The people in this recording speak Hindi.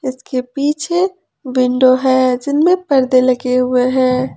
इसके पीछे विंडो है जिनमें परदे लगे हुए हैं।